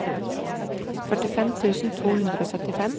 førtifem tusen to hundre og syttifem